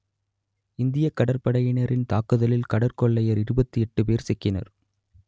இந்தியக் கடற்படையினரின் தாக்குதலில் கடற்கொள்ளையர் இருபத்தி எட்டு பேர் சிக்கினர்